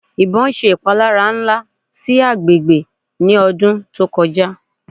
Ibon ṣe ipalara nla si agbegbe ni ọdun to koja